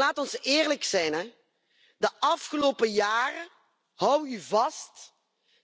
Maar laat ons eerlijk zijn de afgelopen jaren houd u vast